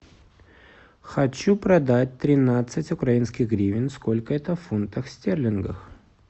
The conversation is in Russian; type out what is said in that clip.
хочу продать тринадцать украинских гривен сколько это в фунтах стерлингах